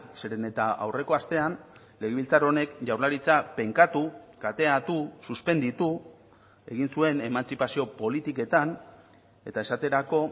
zeren eta aurreko astean legebiltzar honek jaurlaritza penkatu kateatu suspenditu egin zuen emantzipazio politiketan eta esaterako